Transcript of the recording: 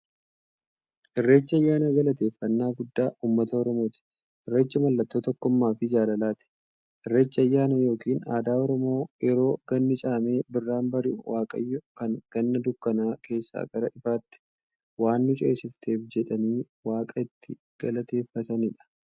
Irreechi ayyaana galateeffnnaa guddaa ummata oromooti. Irreechi mallattoo tokkummaafi jaalalaati. Irreechi ayyaana yookiin aadaa Oromoo yeroo ganni caamee birraan bari'u, waaqayyoon kan Ganna dukkana keessaa gara ifaatti waan nu ceesifteef jedhanii waaqa itti galateeffataniidha.